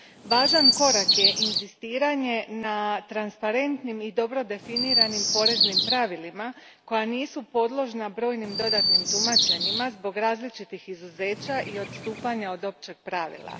Važan korak je inzistiranje na transparentnim i dobro definiranim poreznim pravilima koja nisu podložna brojnim dodatnim tumačenjima zbog različitih izuzeća i odstupanja od općeg pravila.